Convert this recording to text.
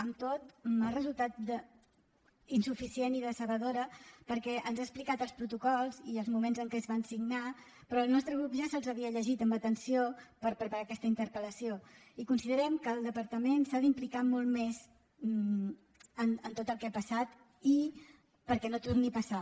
amb tot m’ha resultat insuficient i decebedora perquè ens ha explicat els protocols i els moments en què es van signar però el nostre grup ja se’ls havia llegit amb atenció per preparar aquesta interpel·lació i considerem que el departament s’ha d’implicar molt més en tot el que ha passat perquè no torni a passar